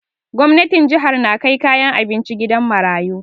Gwamnatin jihar na kai kayan abinci gidan marayu